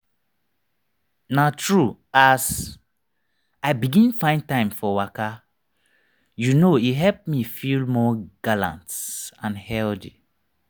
na true as i begin find time for waka you know e help me feel more gallant and healthy.